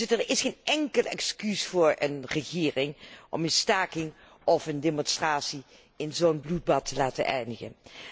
Er is geen enkel excuus voor een regering om een staking of een demonstratie in zo'n bloedbad te laten eindigen.